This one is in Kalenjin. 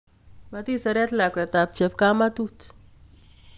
Matiseret lakwet chepkamatut.